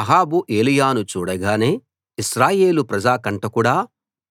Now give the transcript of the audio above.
అహాబు ఏలీయాను చూడగానే ఇశ్రాయేలు ప్రజా కంటకుడా